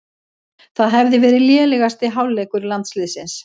Það hefði verið lélegasti hálfleikur landsliðsins